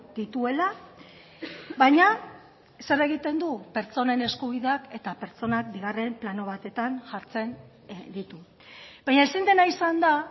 dituela baina zer egiten du pertsonen eskubideak eta pertsonak bigarren plano batetan jartzen ditu baina ezin dena izan da